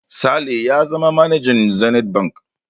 Sale ya zama manajan Zenith Bank.